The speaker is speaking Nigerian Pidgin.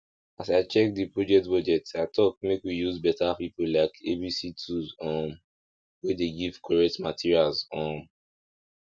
as i check the project budget i talk make we use better people like a b c tools um wey dey give correct materials um